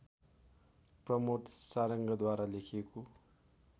प्रमोद सारङ्गद्वारा लेखिएको